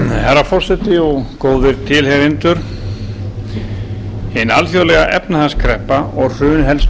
herra forseti og góðir tilheyrendur hin alþjóðlega efnahagskreppa og hrun helstu